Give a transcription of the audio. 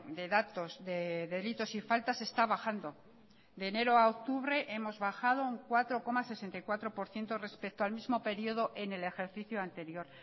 de datos de delitos y faltas está bajando de enero a octubre hemos bajado un cuatro coma sesenta y cuatro por ciento respecto al mismo período en el ejercicio anterior